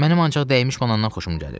Mənim ancaq dəymiş banandan xoşum gəlir.